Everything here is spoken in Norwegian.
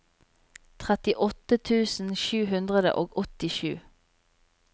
trettiåtte tusen sju hundre og åttisju